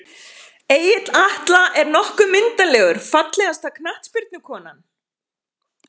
Egill Atla er nokkuð myndarlegur Fallegasta knattspyrnukonan?